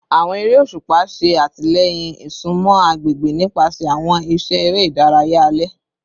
Awọn ere oṣupa ṣe atilẹyin isunmọ agbegbe nipasẹ awọn iṣẹ ere idaraya alẹ